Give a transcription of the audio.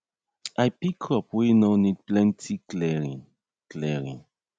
i pick crop wey nor need plenty clearing clearing